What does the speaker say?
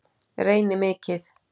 Reyni mikið.